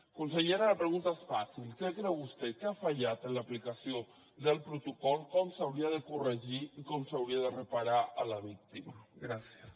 consellera la pregunta és fàcil què creu vostè que ha fallat en l’aplicació del protocol com s’hauria de corregir i com s’hauria de reparar la víctima gràcies